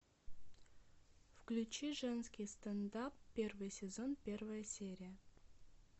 включи женский стендап первый сезон первая серия